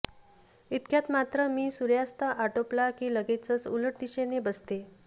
इतक्यात मात्र मी सूर्यास्त आटोपला की लगेचच उलट दिशेनं बसते